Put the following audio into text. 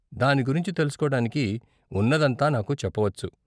దాని గురించి తెలుసుకోవడానికి ఉన్నదంతా నాకు చెప్పవచ్చు.